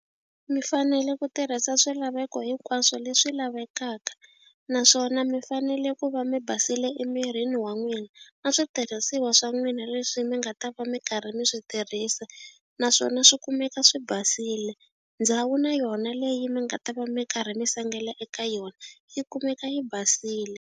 Mi fanele ku tirhisa swilaveko hinkwaswo leswi lavekaka naswona mi fanele ku va mi basile emirini wa n'wina na switirhisiwa swa n'wina leswi mi nga nga ta va mi karhi mi swi tirhisa naswona swi kumeka swi basile ndhawu na yona leyi mi nga ta va mi karhi mi sengela eka yona yi kumeka yi basile.